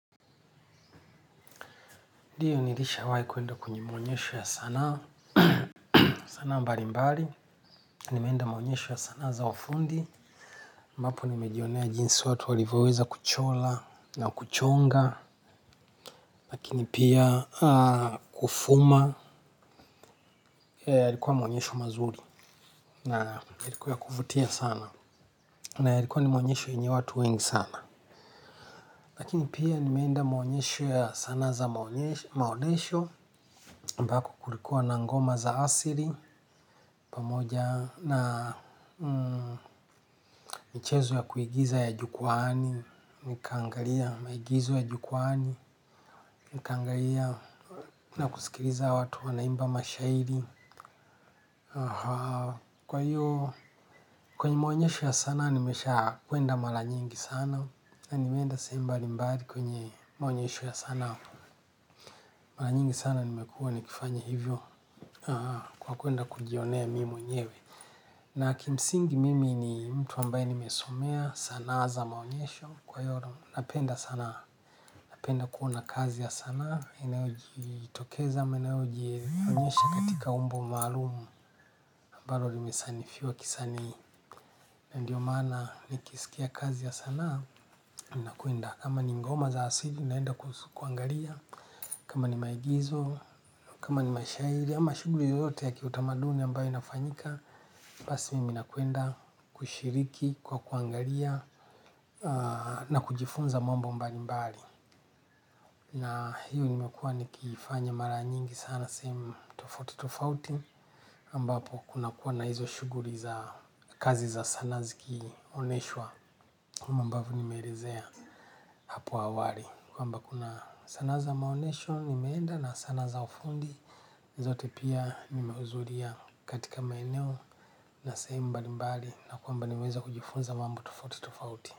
Ndiyo nilisha wae kuenda kwenye maonyesho ya sana, sana mbali mbali, nimeenda maonyesho ya sana za ufundi, ambapo nimejionea jinsi watu walivyoweza kuchola na kuchonga, lakini pia kufuma, yalikuwa maonyesho mazuri na ilikuwa ya kuvutia sana na ilikuwa maonyesho yenye watu wengi sana. Lakini pia nimenda maonyesho ya sana za maonyesho, mbako kulikuwa na ngoma za asiri, pamoja na michezo ya kuigiza ya jukwani, mikangalia maigizo ya jukwani, nikangalia na kusikiriza watu wanaimba mashairi. Kwa hiyo, kwenye maonyesho ya sana nimesha kuenda malanyengi sana. Na nimenda sehemu mbali mbali kwenye maonyesho ya sana. Malanyingi sana nimekua nikifanya hivyo kwa kuenda kujionea mimi nyewe. Na kimsingi mimi ni mtu ambaye nimesomea sana za maonyesho. Kwa hiyo, napenda sana, napenda kuona kazi ya sana inaujitokeza, inaujitonyesha katika umbo umalumu ambalo limesanifiwa kisani na ndio mana nikisikia kazi ya sana minakuenda, kama ni ngoma za asili ninaenda kuangalia, kama ni maigizo kama ni mashaili, ama shuguri yoyote ya kiutamaduni ambayo inafanyika, basi mimi nakuenda kushiriki, kwa kuangalia na kujifunza mambo mbali mbali na hiyo ni imekua nikifanya mara nyingi sana. Nasaimu tofuti tofauti, ambapo kuna kuwa na hizo shuguri za kazi za sana ziki oneshwa kama ambaou nimeerezea apo awari. Kwa mba kuna sana za maonesho, nimeenda na sana za ufundi, zote pia nimeuzulia katika maeneo na sehemu mbali mbali na kuamba nimeza kujifunza mambo tofuti tofauti.